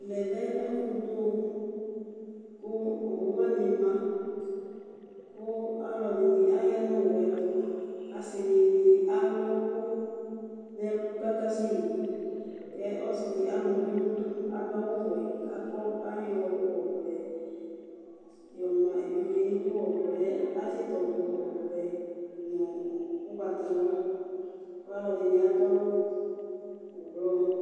Ɛmɛlɛ ɛfu du owu kʋ owu wani ma kʋ alʋɛdìní aya nʋ owu ye tu Asidini alu ɛku nʋ ɛlu kʋ akasɛ yi Ɔsidi ama uvi nu idu adu awu wɛ, ayɔ ɔvlɛ yɔ ma evidze nʋ idu Ɔvlɛ atsi tɔdu ɔvɛ nu ugbatawla kʋ alʋɛdìní adu awu ɛblɔ